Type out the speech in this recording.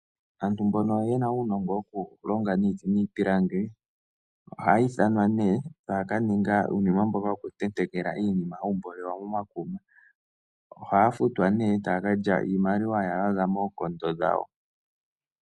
Aantu mbono yena uunongo woku longa iiti niipilangi ohayi ithanwa nee taya kaninga iinima mboka wokutetekela iinima hawu mboolelwa momakuma. Ohaya futwa nee taya kalya iimaliwa yaza moonkondo dhawo.